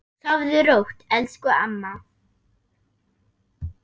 Sofðu rótt, elsku amma.